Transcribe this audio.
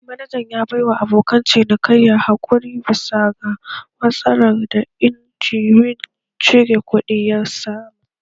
Manajan ya baiwa abokan cinikayya haƙuri bisa ga matsalar da injimin cire kuɗi ya samu